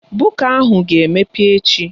Buka ahụ ga-emepe echi